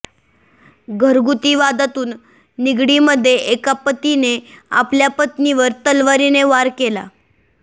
घरगुती वादातून निगडीमध्ये एका पतीने आपल्या पत्नीवर तलवारीने वार केला आहे